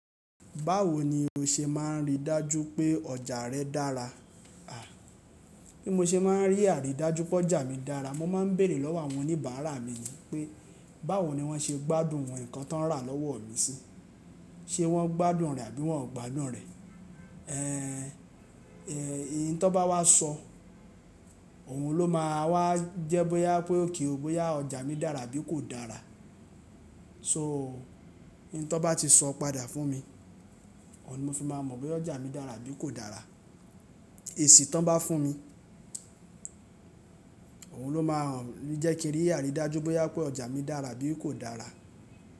Báwo ni o ṣe máà ń rí dájú pé ọjà rẹ dára? Bí mo ṣe máà ń rí àrídájú pé ọjà mi dára, mo ma ń béèrè lọ́wọ́ àwọn oníbàárà mi yí pé báwo ni wọ́n ṣe gbádùn ǹkan tó ń rà lọ́wọ́ mi sí, ṣe wọ́n gbádùn rẹ̀ àbí wọn ò gbádùn rẹ̀? Ẹ̀yi tan bá wá sọ òun ló máa wá jẹ́ bóyá pé okay ó bóyá ọjà mi dára bí kò dára. Ṣo oun tan bá ti sọ padà fún mi, ọ̀ ni mo fi máa mọ̀ pé ọjà mi dára abí kò dára. Èsì tan bá fún mi, òun ló máa ń jẹ́ kí rí àrídájú bóyá pé ọjà mi dára bí kò dára.